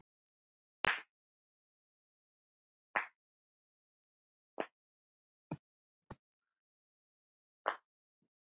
Hún var ljós og fögur.